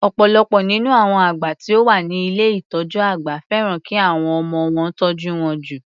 Ọ̀pọ̀lọpọ̀ nínú àwọn àgbà tí ó wá ni ilé ìtọjú àgbà fẹ́ràn ki àwọn ọmọ wọn tọ́jú wọn jù.